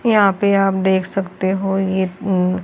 यहां पे आप देख सकते हो यह म्म--